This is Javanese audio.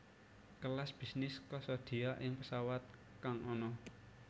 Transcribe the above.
Kelas Bisnis kasadia ing pesawat kang ana